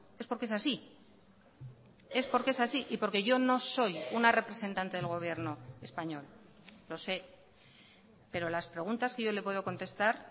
es porque es así es porque es así y porque yo no soy una representante del gobierno español lo sé pero las preguntas que yo le puedo contestar